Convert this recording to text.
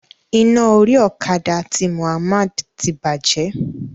Iná orí okada ti Muhmmad ti bàjẹ́.